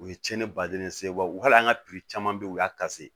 U ye cɛni baden se wa hali an ka caman be yen u y'a